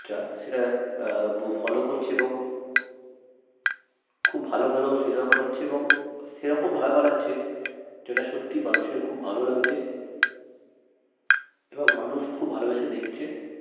সেটা আহ follow করছে এবং খুব ভাল ভাল cinema বানাচ্ছে এবং সেরকম ভাবে বানাচ্ছে যেটা সত্যি মানুষের খুব ভাল লাগছে এবং মানুষ খুব ভালবেসে দেখছে